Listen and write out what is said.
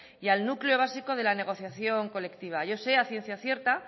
y al núcleo básico de la negociación colectiva yo sé a ciencia cierta